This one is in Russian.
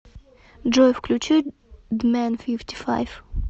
джой включи дмэн фифти файв